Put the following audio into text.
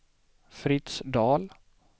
Fritz Dahl